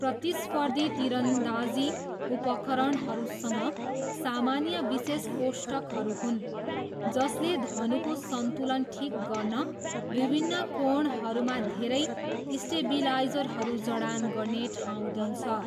प्रतिस्पर्धी तीरन्दाजी उपकरणहरूसँग सामान्य विशेष कोष्ठकहरू हुन् जसले धनुको सन्तुलन ठिक गर्न विभिन्न कोणहरूमा धेरै स्टेबिलाइजरहरू जडान गर्ने ठाउँ दिन्छ।